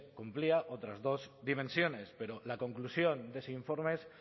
cumplía otras dos dimensiones pero la conclusión de ese informe es